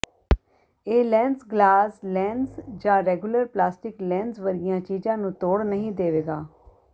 ਇਹ lens glass lens ਜਾਂ regular plastic lens ਵਰਗੀਆਂ ਚੀਜ਼ਾਂ ਨੂੰ ਤੋੜ ਨਹੀਂ ਦੇਵੇਗਾ